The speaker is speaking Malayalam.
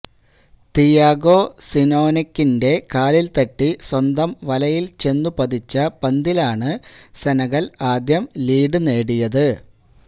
തിയാഗോ സിനോനെക്കിന്റെ കാലിൽ തട്ടി സ്വന്തം വലയിൽ ചെന്നു പതിച്ച പന്തിലാണ് സെനഗൽ ആദ്യം ലീഡ് നേടിയത്